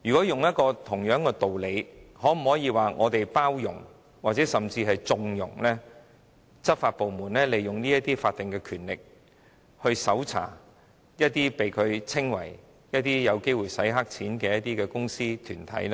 套用相同的道理，我們會否是在包容甚或縱容執法部門利用法定權力搜查它們視之為有機會洗黑錢的公司或團體？